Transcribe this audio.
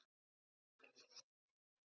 Ólafur skoraði sex mörk.